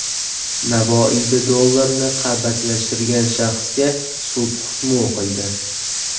Navoiyda dollarni qalbakilashtirgan shaxsga sud hukmi o‘qildi.